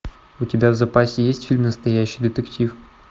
у тебя в запасе есть фильм настоящий детектив